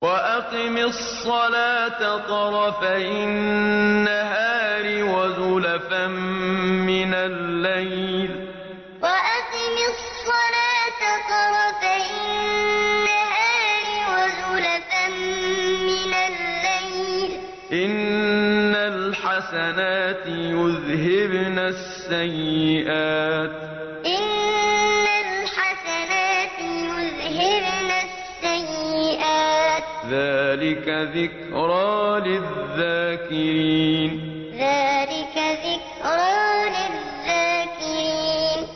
وَأَقِمِ الصَّلَاةَ طَرَفَيِ النَّهَارِ وَزُلَفًا مِّنَ اللَّيْلِ ۚ إِنَّ الْحَسَنَاتِ يُذْهِبْنَ السَّيِّئَاتِ ۚ ذَٰلِكَ ذِكْرَىٰ لِلذَّاكِرِينَ وَأَقِمِ الصَّلَاةَ طَرَفَيِ النَّهَارِ وَزُلَفًا مِّنَ اللَّيْلِ ۚ إِنَّ الْحَسَنَاتِ يُذْهِبْنَ السَّيِّئَاتِ ۚ ذَٰلِكَ ذِكْرَىٰ لِلذَّاكِرِينَ